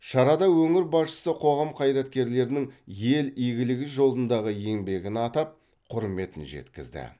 шарада өңір басшысы қоғам қайраткерлерінің ел игілігі жолындағы еңбегін атап құрметін жеткізді